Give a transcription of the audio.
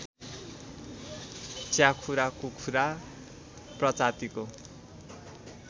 च्याखुरा कुखुरा प्रजातिको